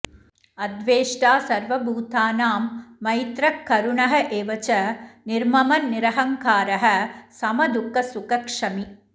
अद्वेष्टा सर्वभूतानां मैत्रः करुणः एव च निर्ममः निरहङ्कारः समदुःखसुखः क्षमी